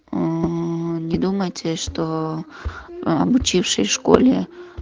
аа не думайте что обучившись в школе